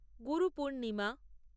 Guru Purnima